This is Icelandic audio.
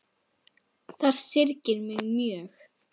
Það syrgir mig mjög.